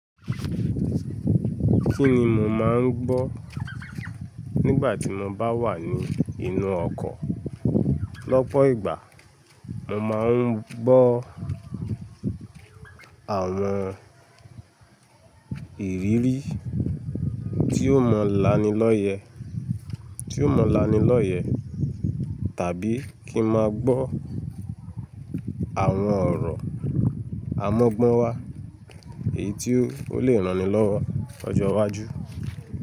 Kí ni mo máa ń gbọ́ nígbà tí mo bá wà ní inú ọkọ̀? Lọ́pọ̀ ìgbà, mo máa ń gbọ́ àwọn ìrírí tí ó mọ̀ lánilọ́yẹ̀, tí ó mọ̀ lánilọ́yẹ̀ tàbí kí ń máa gbọ́ àwọn ọ̀rọ̀ amọ́gbọ́n wá èyí tí ó lè ranni lọ́wọ́ lọjọ́ iwájú.